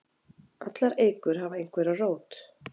Allar eikur hafa einhverja rót.